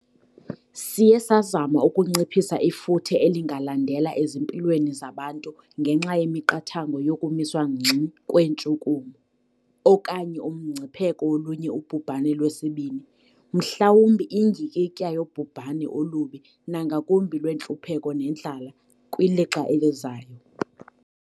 Siye sazama ukunciphisa ifuthe elingalandela ezimpilweni zabantu ngenxa yemiqathango yokumiswa ngxi kweentshukumo, okanye umngcipheko wolunye ubhubhane lwesibini, mhlawumbi indyikitya yobhubhane olubi nangakumbi lwentlupheko nendlala kwilixa elizayo.